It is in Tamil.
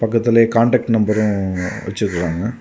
அதிலேயே காண்டாக்ட் நம்பரும் வச்சிருக்றாங்க.